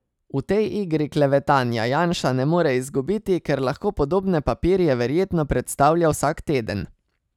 V tej igri klevetanja Janša ne more izgubiti, ker lahko podobne papirje verjetno predstavlja vsak teden.